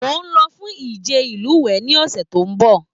Mo n lọ fún ìje ilúwẹ ní ọsẹ tó n bọ.